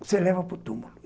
Você leva para o túmulo.